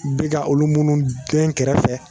Bɛ ka olu minnu dɛn kɛrɛfɛ